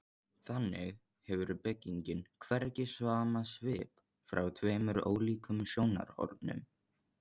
Þannig hefur byggingin hvergi sama svip frá tveimur ólíkum sjónarhornum.